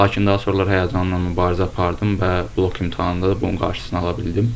Lakin daha sonralar həyəcanımla mübarizə apardım və blok imtahanında da bunun qarşısını ala bildim.